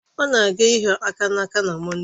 Ọ na-aga ịhịo aka n'aka na Mọnde